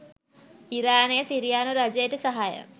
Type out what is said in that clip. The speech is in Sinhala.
ඉරානය සිරියානු රජයට සහාය